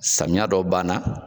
Samiya dɔ ban na.